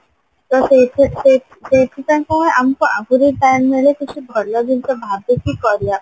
ତ ସେଇସେଇ ସେଇ ସେଇଥିପାଇଁ କଣ ଆମକୁ ଆହୁରି time ମିଳେ କିଛି ଭଲ ଜିନିଷ ଭାବିକି କରିବା ପାଇଁ